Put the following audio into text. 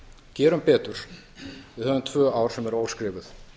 gerum betur við höfum tvö ár sem eru óskrifuð